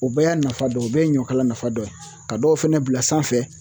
O bɛɛ y'a nafa dɔ ye o bɛɛ ye ɲɔ kala nafa dɔ ye ka dɔw fɛnɛ bila sanfɛ